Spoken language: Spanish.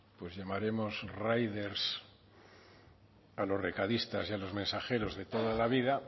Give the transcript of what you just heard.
pues llamaremos riders a los recadistas y a los mensajeros de toda la vida